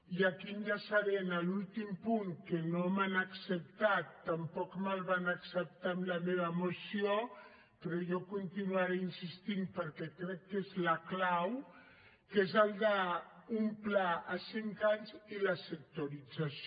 i aquí enllaçaré amb l’últim punt que no m’han acceptat tampoc me’l van acceptar amb la meva moció però jo continuaré insistint hi perquè crec que és la clau que és el d’un pla a cinc anys i la sectorització